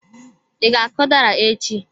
I ga-akụ udara echi?